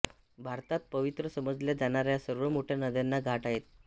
भारतात पवित्र समजल्या जाणाऱ्या सर्व मोठ्या नद्यांना घाट आहेत